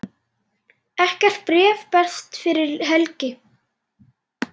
Ekkert bréf berst fyrir helgi.